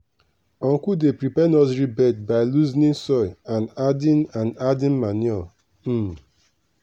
uncle dey prepare nursery bed by loosening soil and adding and adding manure. um